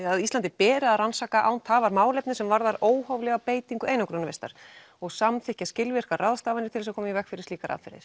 að Íslandi beri að rannsaka án tafar málefni sem varðar óhóflega beitingu einangrunarvistar og samþykkja skilvirkar ráðstafanir til að koma í veg fyrir slíkar aðferðir